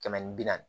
Kɛmɛ ni bi naani